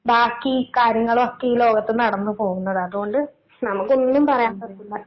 ബാക്കി കാര്യങ്ങളൊക്കെയീ ലോകത്ത് നടന്ന് പോകുന്നത്. അതോണ്ട് നമുക്കൊന്നും പറയാൻ പറ്റൂല.